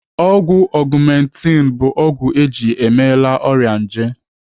Ọgwụ Augmenti bụ ọgwụ eji emela ọrịa nje.